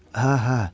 Hə hə.